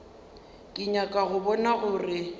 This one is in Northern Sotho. ke nyaka go bona gore